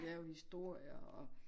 Lave historier og